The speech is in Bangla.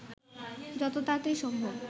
যত তাড়াতাড়ি সম্ভব